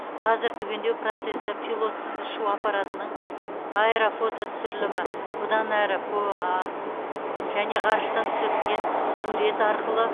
қазір түгендеу процесі пилотсыз ұшу аппаратының аэрофототүсірілімі бұдан әрі пұа және ғарыштан түсірілген сурет арқылы